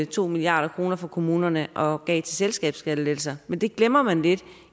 to milliard kroner fra kommunerne og gav til selskabsskattelettelser men det glemmer man lidt